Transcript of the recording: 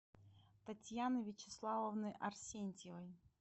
татьяны вячеславовны арсентьевой